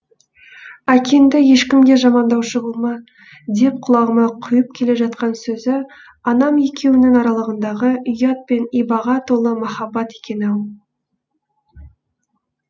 әкеңді ешкімге жамандаушы болма деп құлағыма құйып келе жатқан сөзі анам екеуіңнің аралығыңдағы ұят пен ибаға толы махаббат екен ау